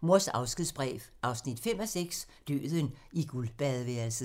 Mors afskedsbrev 5:6 – Døden i guldbadeværelset *